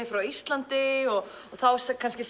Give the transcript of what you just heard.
frá Íslandi og þá segir kannski